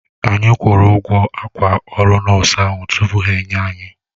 Anyi kwuru ụgwọ akwa ọrụ nọọsụ ahụ tupu ha enye anyi